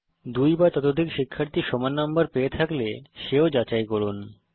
দুই বা ততোধিক শিক্ষার্থী সমান নম্বর পেয়ে থাকলে সেও যাচাই করুন